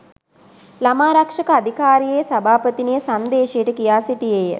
ළමාරක්ෂක අධිකාරියේ සභාපතිනිය සංදේශයට කියා සිටියේ